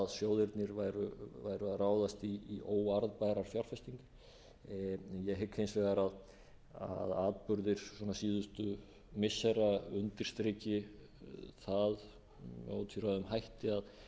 sjóðirnir væru að ráðast í óarðbærar fjárfestingar ég hygg hins vegar að atburðir síðustu missira undirstriki það með ótvíræðum hætti